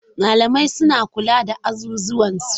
Malamai suna kula da azuzuwan su.